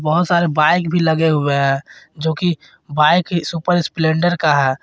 बहोत सारे बाइक भी लगे हुए हैं जो की बाइक ही सुपर स्प्लेंडर का है।